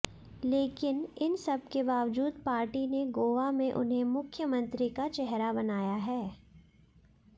लेकिन इन सबके बावजूद पार्टी ने गोवा में उन्हें मुख्यमंत्री का चेहरा बनाया हैै